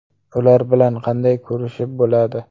Ular bilan qanday kurashib bo‘ladi?!